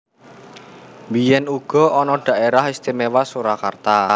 Biyèn uga ana Dhaérah Istiméwa Surakarta